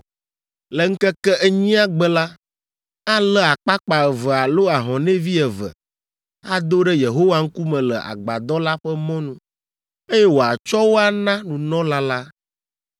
Le ŋkeke enyia gbe la, alé akpakpa eve alo ahɔnɛvi eve, ado ɖe Yehowa ŋkume le Agbadɔ la ƒe mɔnu, eye wòatsɔ wo ana nunɔla la.